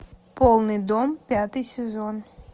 полный дом пятый сезон